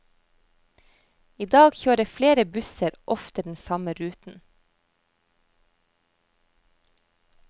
I dag kjører flere busser ofte den samme ruten.